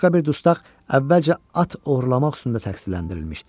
Başqa bir dustaq əvvəlcə at oğurlamaq üstündə təqsirləndirilmişdi.